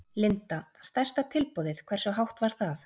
Linda: Stærsta tilboðið, hversu hátt var það?